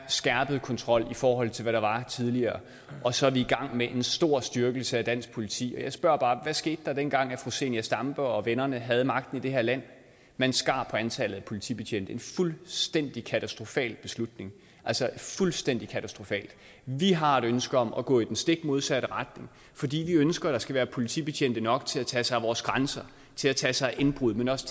skærpet kontrol i forhold til hvad der var tidligere og så er vi i gang med en stor styrkelse af dansk politi og jeg spørger bare hvad skete der dengang da fru zenia stampe og vennerne havde magten i det her land man skar på antallet af politibetjente en fuldstændig katastrofal beslutning altså fuldstændig katastrofal vi har et ønske om at gå i den stik modsatte retning fordi vi ønsker at der skal være politibetjente nok til at tage sig af vores grænser til at tage sig af indbrud men også